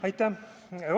Aitäh!